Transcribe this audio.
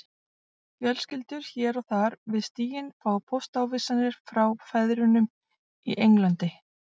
Fjölskyldur hér og þar við stíginn fá póstávísanir frá feðrunum í Englandi